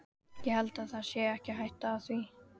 Ég held það sé ekki hætta á því.